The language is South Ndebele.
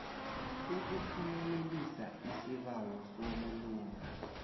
ukuphumelelisa isibawo sobulunga